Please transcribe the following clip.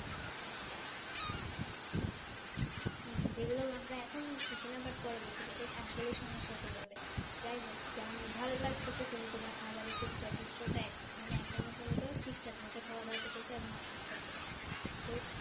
যেগুলো আমরা এখন বুঝতেছি না পরবর্তীতে এটাই আসলে সমস্যা কর হইবে যাইহোক জানি ভালো লাগতেছে যে তুমি তোমার খাবারের প্রতি যথেষ্ট মানে এখনো পর্যন্ত ঠিকঠাক মতই খাওয়া-দাওয়া করতেছে এবং অসুস্থ হওনি।